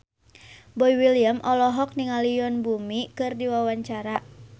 Boy William olohok ningali Yoon Bomi keur diwawancara